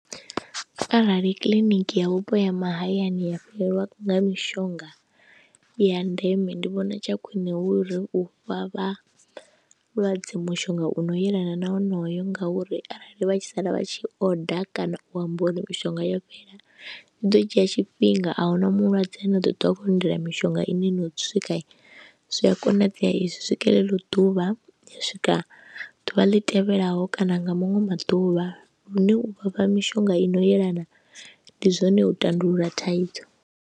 Arali kiḽiniki ya vhupo ya mahayani ya fhelelwa nga mishonga ya ndeme ndi vhona tsha khwine hu uri u fha vhalwadze mushonga u no yelana na honoyo ngauri arali vha tshi sala vha tshi oda kana u amba uri mishonga yo fhela zwi ḓo dzhia tshifhinga. A hu na mulwadze na ḓo ṱwa a khou lindela mishonga ine no swika zwi a konadzea i si swike ḽeḽo ḓuvha ya swika ḓuvha ḽi tevhelaho kana nga maṅwe maḓuvha lune u vha fha mishonga i no yelana ndi zwone u tandulula thaidzo.